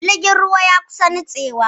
Jirgin ruwan ya kusa nitsewa